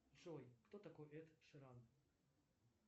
джой кто такой эд ширан